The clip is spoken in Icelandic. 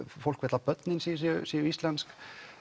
fólk vill að börnin sín séu séu íslensk